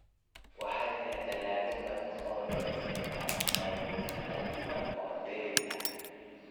Waxaa jira dalagyo badan oo loo isticmaalo qaybo kala duwan oo dheeri ah.